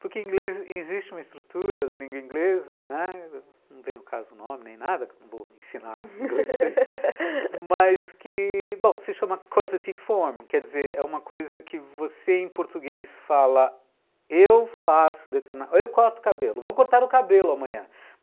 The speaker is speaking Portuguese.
Porque em inglês existe uma estrutura da língua inglesa, né, não vem ao caso nome nem nada, não vou ensinar inglês, mas que, bom... se chama, quer dizer, é uma coisa que você em português fala, eu faço determinado, eu corto o cabelo, vou cortar o cabelo amanhã.